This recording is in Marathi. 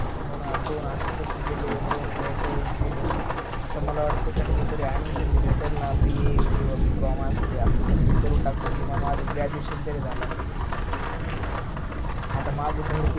हो नां दोन असे तसे गेले दोन ते अस्या वेळेस गेले आता मला वाटत कि काश्याला तरी admission भेटल ना बी ए किवा बी कोम अस काही असल त ते करून टाकतो किमान माझ graduation तरी झाल असत आत माझ भर